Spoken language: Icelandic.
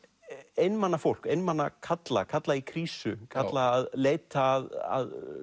einmana fólk einmana karla karla í krísu karla að leita að